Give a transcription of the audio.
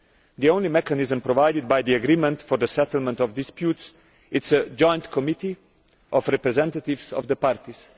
The only mechanism provided for by the agreement for the settlement of disputes is a joint committee of representatives of the parties.